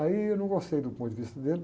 Aí eu não gostei do ponto de vista dele.